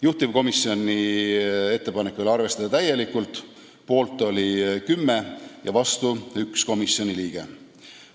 Juhtivkomisjoni ettepanek oli arvestada seda täielikult, poolt oli 10 komisjoni liiget ja vastu 1.